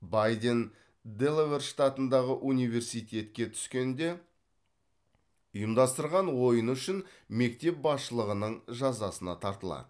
байден делавэр штатындағы университетке түскенде ұйымдастырған ойыны үшін мектеп басшылығының жазасына тартылады